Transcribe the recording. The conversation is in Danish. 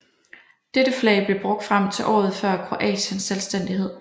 Dette flag blev brugt frem til året før Kroatiens selvstændighed